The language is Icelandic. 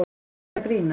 Ertu að grínast?!